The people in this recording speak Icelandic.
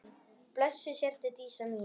Blessuð sértu Dísa mín.